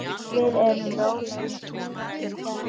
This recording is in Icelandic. Við erum í rólegum vexti.